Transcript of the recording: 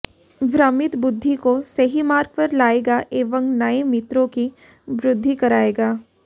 भ्रमित बुद्धि को सही मार्ग पर लायेगा एंव नयें मित्रों की वृद्धि करायेगा